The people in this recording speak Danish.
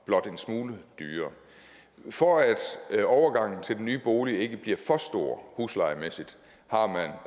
blot en smule dyrere for at overgangen til den nye bolig ikke bliver for stor huslejemæssigt